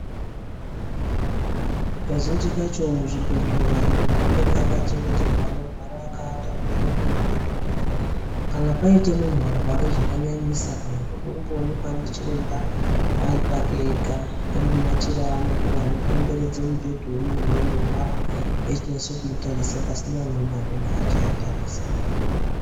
Kazhinji kacho muzvibhehleya anhu mwanenge akachengeterwa anorwara akaata muya mune mubhedhu muya kana paite muntu warwara zvakanyanyisa kana kuti unode kumboonekwa ndichiremba ari pake ega vane machira avanotora kukomberedze mubhedhu wemuntuwo unorwra veichinase kumutarisa pasina umweni unovatarisa.